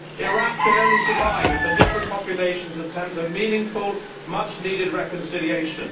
Iraq can only survive if the different populations attempt a meaningful, much needed reconciliation.